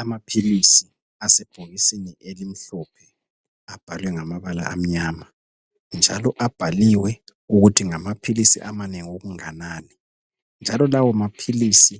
Amaphilisi asebhokisini elimhlophe, abhalwe ngamabala amnyama. Njalo abhaliwe ukuthi ngamaphilisi, amanengi okunganani, njalo lawomaphilisi,